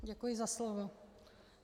Děkuji za slovo.